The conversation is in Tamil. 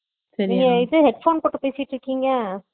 நீங்க இது headphone போட்டா பேசிட்டு இருக்கிங்க